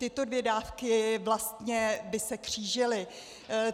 Tyto dvě dávky vlastně by se křížily.